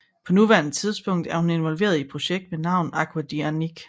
På nuværende tidspunkt er hun indvolveret i et projekt ved navn Agua de Annique